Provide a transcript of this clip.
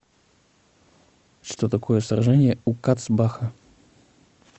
что такое сражение у кацбаха